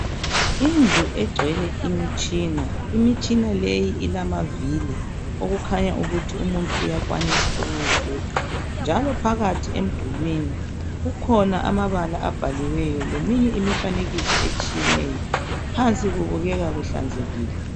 indlu egcwele imitshina imitshina leyi ilamavili okukhanya ukuthi umuntu uyakwanisa ukuwufuqa njalo phakathi emdulini kukhona amabala abhaliweyo leminye imifanekiso esthiyeneyo phansi kubukeka kuhlanzekile